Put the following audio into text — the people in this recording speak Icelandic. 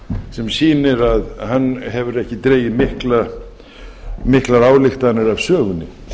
sem sýnir að hann hefur ekki dregið miklar ályktanir af sögunni